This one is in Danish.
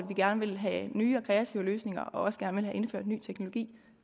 gerne vil have nye og kreative løsninger og også gerne vil have indført ny teknologi